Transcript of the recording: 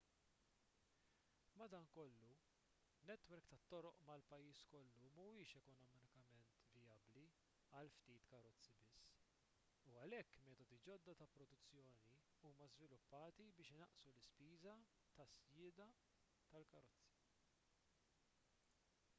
madankollu netwerk tat-toroq mal-pajjiż kollu mhuwiex ekonomikament vijabbli għal ftit karozzi biss u għalhekk metodi ġodda ta' produzzjoni huma żviluppati biex inaqqsu l-ispiża tas-sjieda tal-karozza